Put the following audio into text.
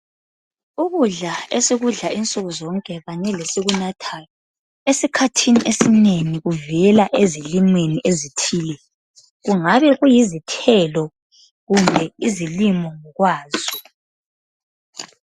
Ukudla esikudla insuku zonke kanye lesikunathayo esikhathini esinengi kuvela ezilimweni ezithile kungabe kuyizithelo kumbe izilimo ngokwazo.